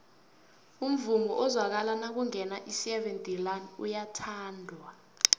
umvumo ozwakala nakungena iseven delaan uyathandwa